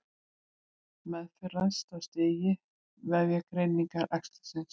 Meðferð ræðst af stigi og vefjagreiningu æxlisins.